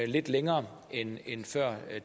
lidt længere end end før